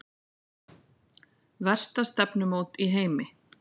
Versta stefnumót í heimi